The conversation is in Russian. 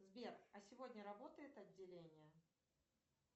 сбер а сегодня работает отделение